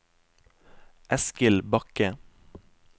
Eskil Bakke